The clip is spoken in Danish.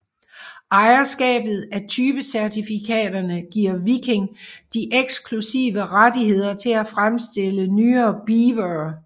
Ejerskabet af typecertifikaterne giver Viking de eksklusive rettigheder til at fremstille nye Beavere